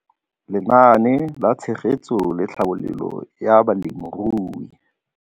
Lenaane la Tshegetso le Tlhabololo ya Balemirui.